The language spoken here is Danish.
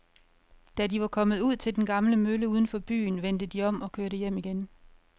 Da de var kommet ud til den gamle mølle uden for byen, vendte de om og kørte hjem igen.